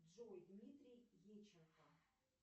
джой дмитрий еченко